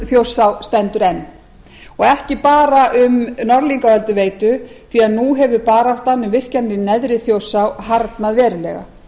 þjórsá stendur enn ekki bara um norðlingaölduveitu því að nú hefur baráttan um virkjanir í neðri þjórsá harðnað verulega